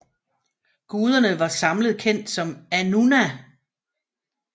Guderne var samlet kendt som Annuna